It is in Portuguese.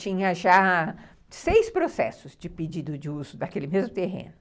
Tinha já seis processos de pedido de uso daquele mesmo terreno.